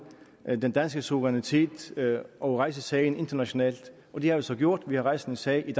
den danske suverænitet og rejse sagen internationalt og det har vi så gjort vi har rejst en sag i